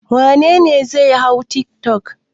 Wane ne zai hau tiktok?